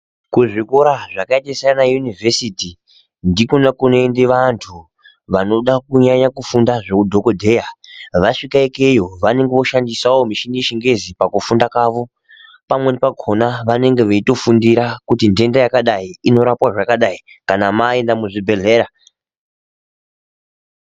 Kuzvikora zvakaita sana univhesiti ndikona kunoende antu vanoda kunyanya kufunda zveudhokodheya. Vasvike ikeyo vanonga voshandisavo michini yechingezi pakufunda kwavo. Pamweni pakona vanenge veitofundira kuti ntenda yakadai inorapwa zvakadai kana maenda muzvibhedhleya.